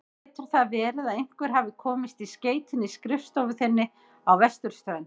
Getur það verið að einhver hafi komist í skeytin í skrifstofu þinni á vesturströndinni?